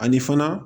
Ani fana